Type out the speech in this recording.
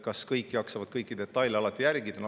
Kas kõik jaksavad kõiki detaile alati jälgida?